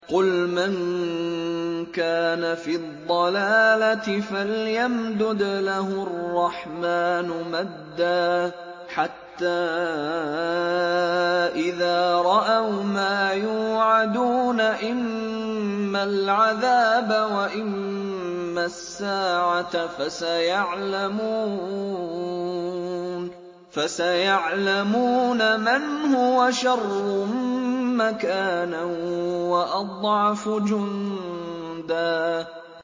قُلْ مَن كَانَ فِي الضَّلَالَةِ فَلْيَمْدُدْ لَهُ الرَّحْمَٰنُ مَدًّا ۚ حَتَّىٰ إِذَا رَأَوْا مَا يُوعَدُونَ إِمَّا الْعَذَابَ وَإِمَّا السَّاعَةَ فَسَيَعْلَمُونَ مَنْ هُوَ شَرٌّ مَّكَانًا وَأَضْعَفُ جُندًا